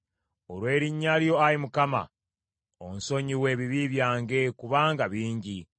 Olw’erinnya lyo, Ayi Mukama , onsonyiwe ebibi byange, kubanga bingi.